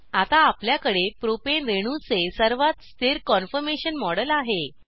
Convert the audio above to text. आता आपल्याकडे प्रोपेन रेणू चे सर्वात स्थिर कान्फॉर्मेशन मॉडेल आहे